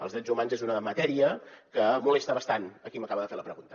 els drets humans és una matèria que molesta bastant a qui m’acaba de fer la pregunta